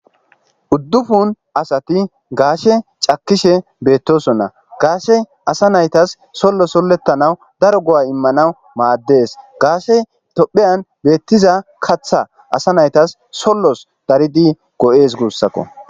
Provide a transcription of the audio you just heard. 9 asati gashe cakishe betosona gashey asa naytas solo soletana daro go'a imanaw mades gashey tophiya betiza katha asa naytas solos daridi go'es gusako